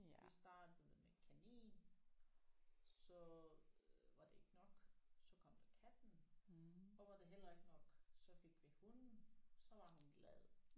Vi startede med kanin så var det ikke nok så kom der katten og var det heller ikke nok så fik vi hunden så var hun glad